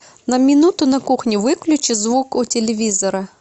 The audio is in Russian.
на минуту на кухне выключи звук у телевизора